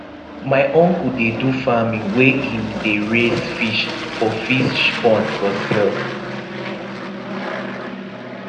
my uncle dey do farming where him dey raise fish for fish pond for sale